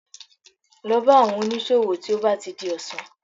Lọ bá àwọn oníṣòwò tí ó bá ti di ọ̀sán